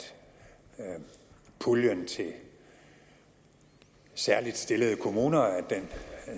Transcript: puljen til særligt stillede kommuner